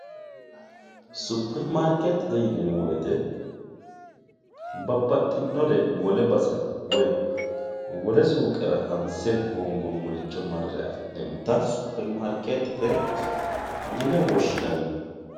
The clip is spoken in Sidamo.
superimaarikeettete yineemmo woyiite babbaxxitino wole basera woy wole suuqera hanse hoongoommoricho marre afi'neemmota superimaarikeettete yine woshshinanni.